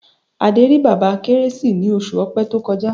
Adé rí Bàbá Kérésì ní oṣù Ọ̀pẹ tó kọjá.